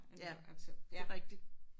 Ja. Det er rigtigt